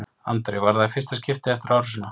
Andri: Var það í fyrsta skiptið eftir árásina?